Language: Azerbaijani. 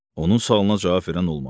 Onun sualına cavab verən olmadı.